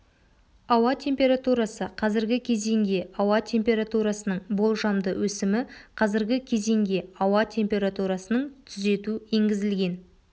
ауа температурасы қазіргі кезеңге ауа температурасының болжамды өсімі қазіргі кезеңге ауа температурасының түзету енгізілген